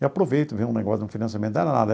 E aproveito ver um negócio de um financiamento da nada.